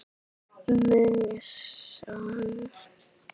Mun sakna þín amma Hadda.